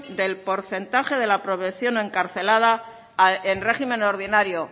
del porcentaje de la población encarcelada en régimen ordinario